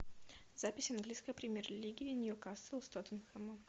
запись английской премьер лиги ньюкасл с тоттенхэмом